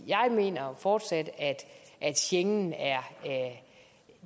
jeg mener fortsat at schengen er